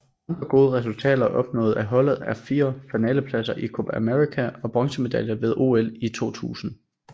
Andre gode resultater opnået af holdet er fire finalepladser i Copa América og bronzemedaljer ved OL i 2000